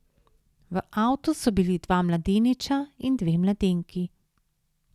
V avtu so bili dva mladeniča in dve mladenki.